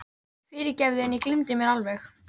Fyrirgefðu, en ég gleymdi mér alveg.